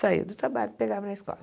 Saía do trabalho e pegava na escola.